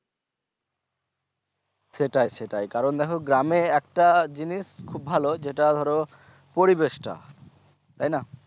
সেটাই সেটাই কারণ দেখো গ্রামে একটা জিনিস খুব ভালো যেটা ধরো পরিবেশটা তাইনা,